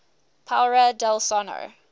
paura del sonno